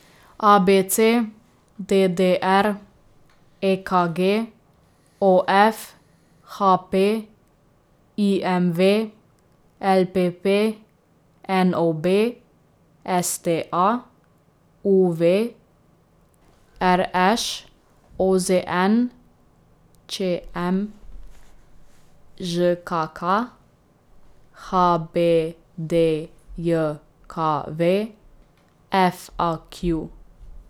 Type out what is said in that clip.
A B C; D D R; E K G; O F; H P; I M V; L P P; N O B; S T A; U V; R Š; O Z N; Č M; Ž K K; H B D J K V; F A Q.